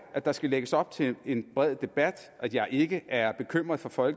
at der skal lægges op til en bred debat at jeg ikke er bekymret for for